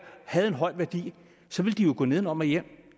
havde en høj værdi så ville den jo gå nedenom og hjem